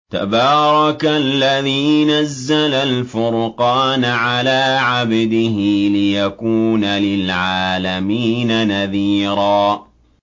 تَبَارَكَ الَّذِي نَزَّلَ الْفُرْقَانَ عَلَىٰ عَبْدِهِ لِيَكُونَ لِلْعَالَمِينَ نَذِيرًا